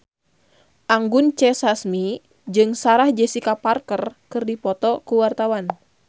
Anggun C. Sasmi jeung Sarah Jessica Parker keur dipoto ku wartawan